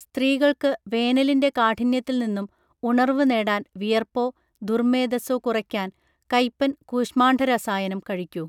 സ്തീകൾക്ക് വേനലിന്റെ കാഠിന്യത്തിൽനിന്നും ഉണർവു നേടാൻ വിയർപ്പോ ദുർമ്മേദസോ കുറയ്ക്കാൻ കയ്പൻ കൂശ്മാണ്ഡരസായനം കഴിക്കു